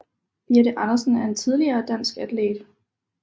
Birthe Andersen er en tidligere dansk atlet